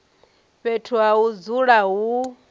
fhethu ha u dzula hu